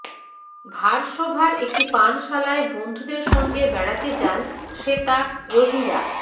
ভারসোভার একটি পানশালায় বন্ধুদের সঙ্গে বেড়াতে যান শ্বেতা রোহিরা